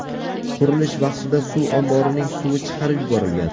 Qurilish vaqtida suv omborining suvi chiqarib yuborilgan.